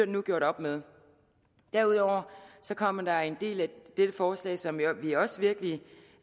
nu gjort op med derudover kommer der den del af dette forslag som vi også virkelig